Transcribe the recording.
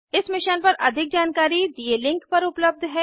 इस मिशन पर अधिक जानकारी दिए लिंक पर उपलब्ध है